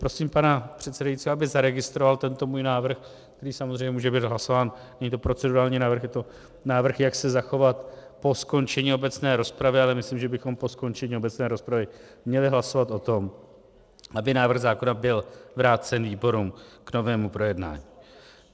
Prosím pana předsedajícího, aby zaregistroval tento můj návrh, který samozřejmě může být hlasován, není to procedurální návrh, je to návrh, jak se zachovat po skončení obecné rozpravy, ale myslím, že bychom po skončení obecné rozpravy měli hlasovat o tom, aby návrh zákona byl vrácen výborům k novému projednání.